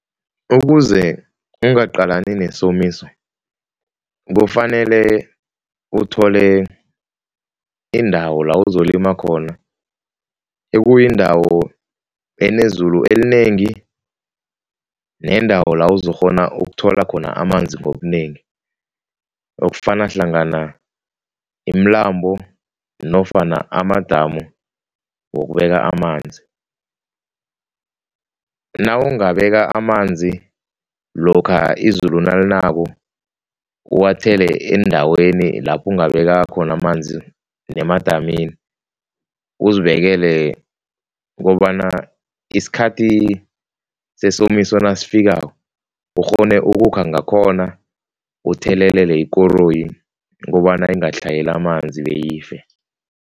Ukuze ungaqalani nesomiso kufanele uthole indawo la uzolima khona, ekuyindawo enezulu elinengi neendawo la uzokghona ukuthola khona amanzi ngobunengi, okufaka hlangana imilambo nofana amadamu wokubeka amanzi. Nawungabeka amanzi lokha izulu nalinako, uwathele endaweni lapho ungabeka khona amanzi nemadamini, uzibekele kobana isikhathi sesomiso nasifikako ukghone ukukha ngakhona uthelelele ikoroyi kobana ingatlhayeli amanzi beyife.